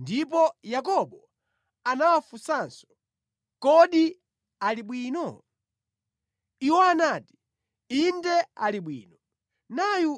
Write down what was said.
Ndipo Yakobo anawafunsanso, “Kodi ali bwino?” Iwo anati, “Inde ali bwino. Nayu